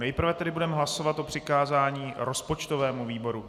Nejprve tedy budeme hlasovat o přikázání rozpočtovému výboru.